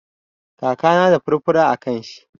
Kakana na da furfura a kan shi.